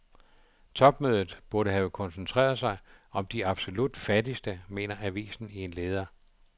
Topmødet burde have koncentreret sig om de absolut fattigste, mener avisen i en leder.